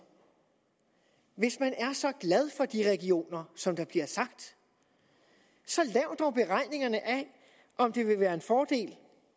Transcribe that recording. hvis man er så glad for de regioner som der bliver sagt så lav dog beregningerne af om det vil være en fordel